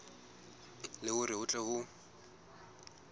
le hore ho tle ho